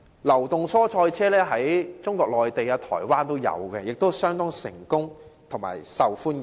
流動蔬菜車在中國內地和台灣也已有推行，而且相當成功及受歡迎。